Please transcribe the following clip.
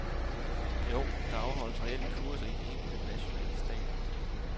Jo, der afholdes reelt kurser i de enkelte nationale stater.